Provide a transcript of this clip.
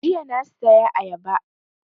Jiya na saya ayaba